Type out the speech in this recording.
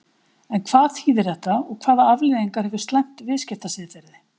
En hvað þýðir þetta og hvaða afleiðingar hefur slæmt viðskiptasiðferði?